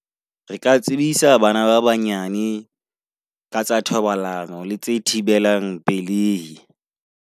Re ka tsebisa bana ba banyane ka tsa thobalano le tse thibelang pelei.